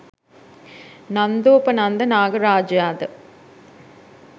නන්දෝපනන්ද නාග රාජයා ද